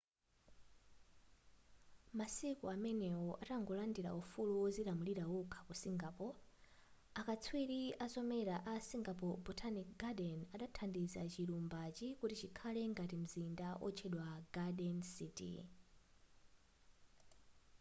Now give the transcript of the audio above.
masiku amenewo atangolandila ufulu wozilamulira wokha ku singapore akatswiri azomera a singapore botanic garden adathandiza chilumbachi kuti chikhale ngati mzinda wotchedwa garden city